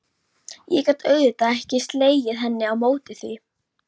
Ég gat auðvitað ekki slegið hendi á móti því.